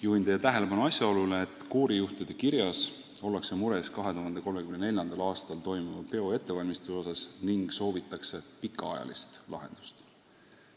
Juhin teie tähelepanu asjaolule, et koorijuhtide kirjas väljendatakse muret 2034. aastal toimuva peo ettevalmistamise pärast ning soovitakse pikaajalist lahendust.